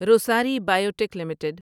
Rossari biotech limited